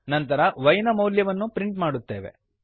ನಂತರ y ನ ಮೌಲ್ಯವನ್ನು ಪ್ರಿಂಟ್ ಮಾಡುತ್ತೇವೆ